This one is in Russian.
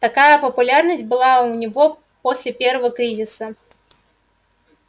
такая популярность была у него после первого кризиса